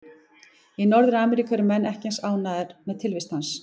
Í Norður-Ameríku eru menn ekki eins ánægðir með tilvist hans.